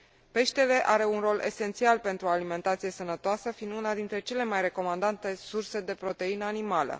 Peștele are un rol esențial pentru o alimentație sănătoasă, fiind una dintre cele mai recomandate surse de proteină animală.